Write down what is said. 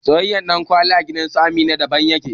Soyayyen dankalin gidansu Amina daban yake